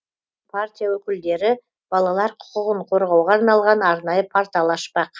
партия өкілдері балалар құқығын қорғауға арналған арнайы портал ашпақ